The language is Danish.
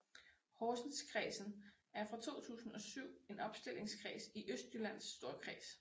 Horsenskredsen er fra 2007 en opstillingskreds i Østjyllands Storkreds